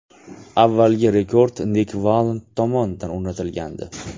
Avvalgi rekord Nik Vallend tomonidan o‘rnatilgandi.